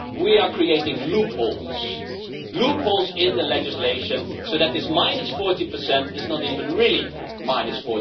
We are creating loopholes loopholes in the legislation so that this minus 40 is not even really minus